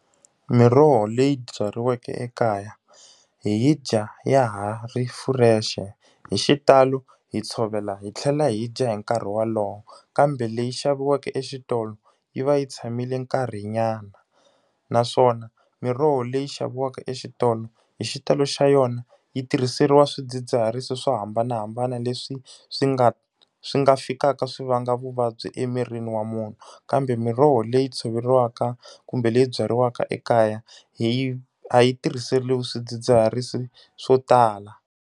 Miroho leyi byariweke ekaya, hi dya ya ha ri fresh-e. Hi xitalo hi tshovela hi tlhela hi dya hi nkarhi wolowo, kambe leyi xaviweke exitolo yi va yi tshamile nkarhinyana. Naswona miroho leyi xaviwaka exitolo, hi xitalo xa yona yi tirhiseriwa swidzidziharisi swo hambanahambana leswi swi nga swi nga fikaka swi va nga vuvabyi emirini wa munhu. Kambe miroho leyi tshoveriwaka kumbe leyi byariwaka ekaya, hi yi a yi tirhiseriwi swidzidziharisi swo tala.